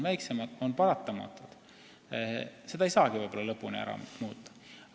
See on võib-olla paratamatu, seda ei saagi lõpuni ära muuta.